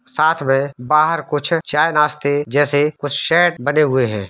साथ में बाहर कुछ चाय नासते जैसे कुछ शेड बने हुए है।